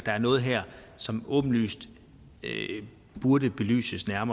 er noget her som åbenlyst burde belyses mere